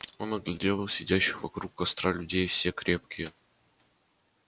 он оглядел сидящих вокруг костра людей все крепкие